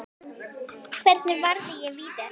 Hvernig varði ég vítið?